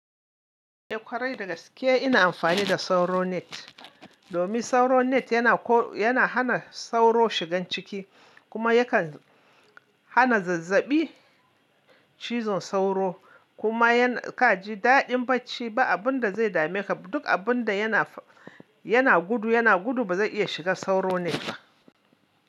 Eh ƙwarai dagaske ina amfani da sauro net domin sauro net yana ko, yana hana sauro shigan ciki kuma yakan hana zazzabi cizon sauro kuma yana kaji daɗin bacci ba abinda zai dame ka duk abinda yana, yana gudu yana gudu bazai iya shiga sauro net ba.